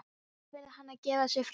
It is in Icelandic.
Nú verður hann að gefa sig fram.